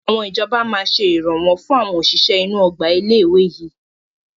Àwọn ìjọba máa ṣe Ìrànwọ́ fún àwọn òṣìṣẹ́ inú Ọgbà ilé ìwé yìí